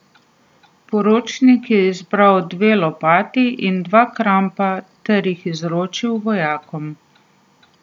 Poročnik je izbral dve lopati in dva krampa ter jih izročil vojakom.